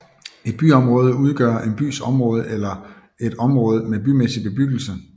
Et byområde udgør en bys område eller et område med bymæssig bebyggelse